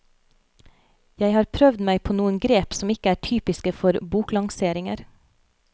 Jeg har prøvd meg på noen grep som ikke er typiske for boklanseringer.